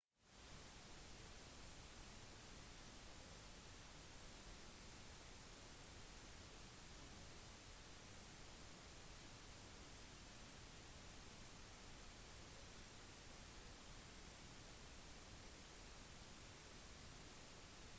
europeisk innflytelse og kolonialisme startet i det 15. århundre etter at den portugisiske oppdageren vasco da gama fant kapp-ruten fra europa til india